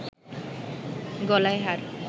গলায় হার